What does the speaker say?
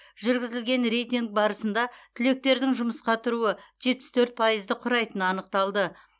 жүргізілген рейтинг барысында түлектердің жұмысқа тұруы жетпіс төрт пайызды құрайтыны анықталды